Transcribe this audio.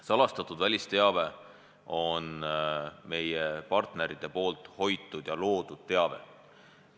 Salastatud välisteave on meie partnerite hoitud ja loodud teave.